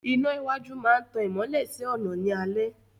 Iná iwájú máa ń tan ìmọ́lẹ̀ sí ọ̀nà ní alẹ́